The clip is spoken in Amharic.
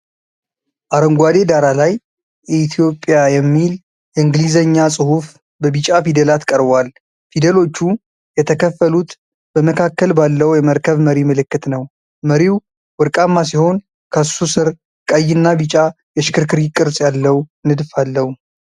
አረንጓዴ ዳራ ላይ እኢትዮጵያ የሚል የእንግሊዝኛ ጽሑፍ በቢጫ ፊደላት ቀርቧል። ፊደሎቹ የተከፈሉት በመካከል ባለው የመርከብ መሪ ምልክት ነው። መሪው ወርቃማ ሲሆን፣ ከሱ ስር ቀይና ቢጫ የሽክርክሪት ቅርጽ ያለው ንድፍ አለው።